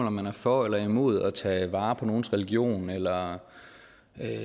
om man er for eller imod at tage vare på nogens religion eller